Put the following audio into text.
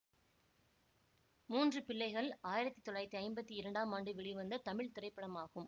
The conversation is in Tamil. மூன்று பிள்ளைகள் ஆயிரத்தி தொள்ளாயிரத்தி ஐம்பத்தி இரண்டாம் ஆண்டு வெளிவந்த தமிழ் திரைப்படமாகும்